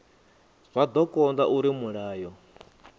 zwa do konda uri mulayo